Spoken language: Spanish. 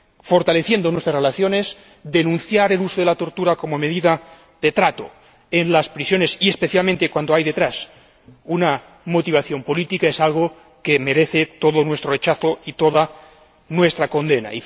fortaleciendo nuestras relaciones, el uso de la tortura como medida de trato en las prisiones, y especialmente cuando hay detrás una motivación política, es algo que merece todo nuestro rechazo, toda nuestra condena.